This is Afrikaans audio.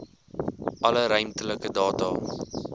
alle ruimtelike data